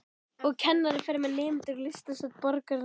Og kennarinn fer með nemendur í listasöfn borgarinnar.